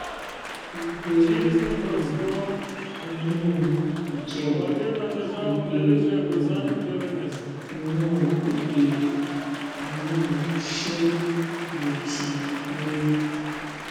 ìgbé um inú ìjẹun ìgbé um inú ìgbé inú ṣé mo ti lóyún